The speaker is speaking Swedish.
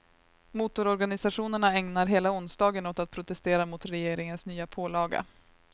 Motororganisationerna ägnar hela onsdagen åt att protestera mot regeringens nya pålaga.